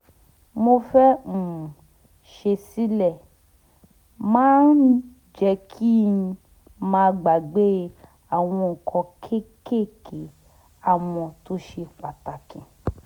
mo fẹ́ um ṣe sílẹ̀ máa ń jẹ́ kí n má gbàgbé àwọn nǹkan kéékèèké àmọ́ tó ṣe pàtàkì